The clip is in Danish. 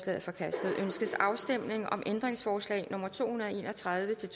er forkastet ønskes afstemning om ændringsforslag nummer to hundrede og en og tredive til